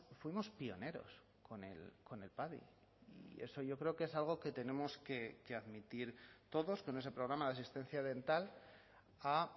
fuimos pioneros con el padi y eso yo creo que es algo que tenemos que admitir todos que en ese programa de asistencia dental a